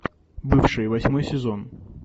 бывшие восьмой сезон